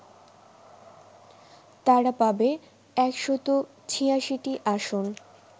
তারা পাবে ১৮৬টি আসন